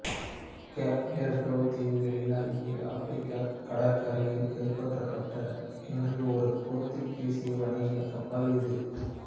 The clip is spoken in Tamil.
கேப் வேர்டே தீவுகள் அருகே ஆப்பிரிக்கா கடற்கரையில் கைப்பற்றப்பட்ட என்று ஒரு போர்த்துகீசியம் வணிக கப்பல் இது